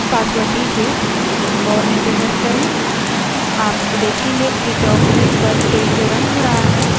आप देखेंगे कि terminal पर tail जो रन हो रहा है एक नए log के साथ जोड़ा गया है